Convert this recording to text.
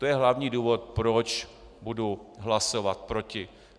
To je hlavní důvod, proč budu hlasovat proti.